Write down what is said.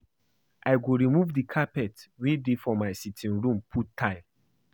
I go remove the carpet wey dey for my sitting room put tile